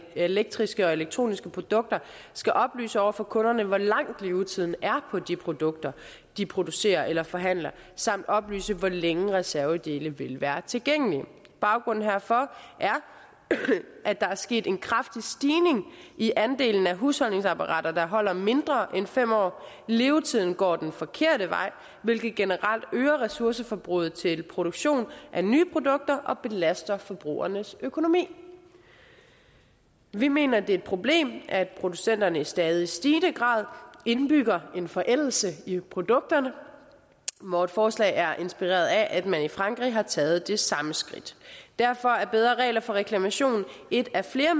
elektriske og elektroniske produkter skal oplyse over for kunderne hvor lang levetiden er på de produkter de producerer eller forhandler samt oplyse hvor længe reservedele vil være tilgængelige baggrunden herfor er at der er sket en kraftig stigning i andelen af husholdningsapparater der holder mindre end fem år levetiden går den forkerte vej hvilket generelt øger ressourceforbruget til produktion af nye produkter og belaster forbrugernes økonomi vi mener det er et problem at producenterne i stadig stigende grad indbygger en forældelse i produkterne vores forslag er inspireret af at man i frankrig har taget det samme skridt derfor er bedre regler for reklamation et af flere